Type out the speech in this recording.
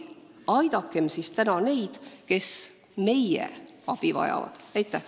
Aidakem siis täna neid, kes meie abi vajavad!